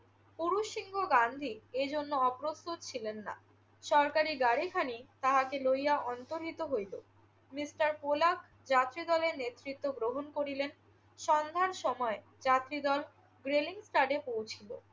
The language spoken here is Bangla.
পুরুষসিংহ গান্ধী এজন্য অপ্রস্তুত ছিলেন না। সরকারি গাড়িখানি তাহাকে লইয়া অন্তর্হিত হইল। মিস্টার কোলাক যাত্রীদলের নেতৃত্ব গ্রহণ করিলেন। সন্ধ্যার সময় যাত্রীদল রেলিংস্টাডে পৌঁছিল।